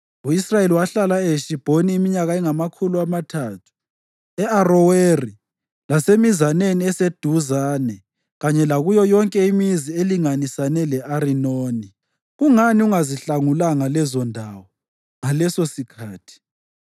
U-Israyeli wahlala eHeshibhoni iminyaka engamakhulu amathathu, e-Aroweri, lasemizaneni eseduzane kanye lakuyo yonke imizi elinganisane le-Arinoni. Kungani ungazihlangulanga lezondawo ngalesosikhathi?